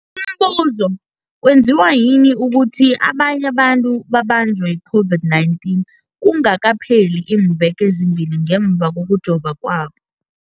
Umbuzo, kwenziwa yini ukuthi abanye abantu babanjwe yi-COVID-19 kungakapheli iimveke ezimbili ngemva kokujova kwabo?